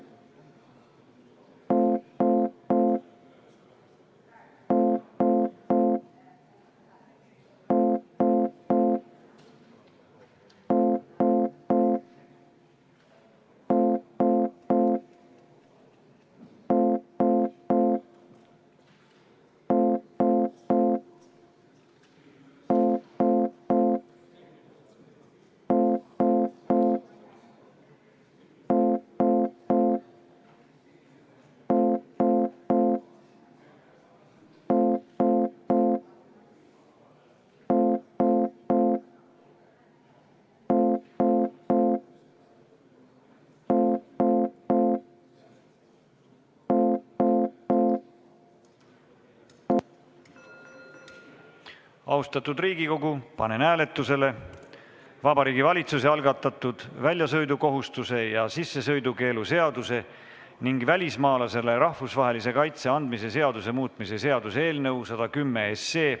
Austatud Riigikogu, panen hääletusele Vabariigi Valitsuse algatatud väljasõidukohustuse ja sissesõidukeelu seaduse ning välismaalasele rahvusvahelise kaitse andmise seaduse muutmise seaduse eelnõu 110.